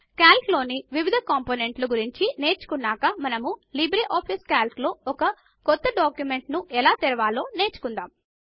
Calc లోని వివిధ కాంపోనెంట్ల గురించి నేర్చుకున్నాక మనము లిబ్రేఆఫీస్ కాల్క్ లో ఒక క్రొత్త డాక్యుమెంట్ ను ఎలా తెరవాలో నేర్చుకుందాము